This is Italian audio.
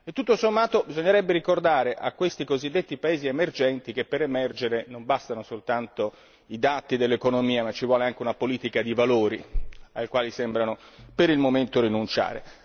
Tutto sommato bisognerebbe ricordare a questi cosiddetti paesi emergenti che per emergere non bastano soltanto i dati dell'economia, ma ci vuole anche una politica di valori ai quali sembrano per il momento rinunciare.